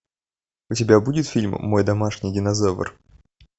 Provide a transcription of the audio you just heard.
у тебя будет фильм мой домашний динозавр